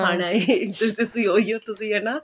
ਖਾਣ ਆਏ ਤੁਸੀਂ ਉਹੀ ਓ ਤੁਸੀਂ ਹਨਾ